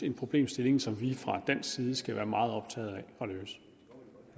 en problemstilling som vi fra dansk side skal være meget optaget af og